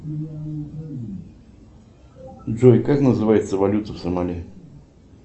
джой как называется валюта в сомали